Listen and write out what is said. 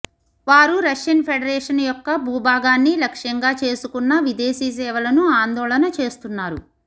వారు Russian Federation యొక్క భూభాగాన్ని లక్ష్యంగా చేసుకున్న విదేశీ సేవలను ఆందోళన చేస్తున్నారు